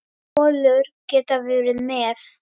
Kolur getað verið með.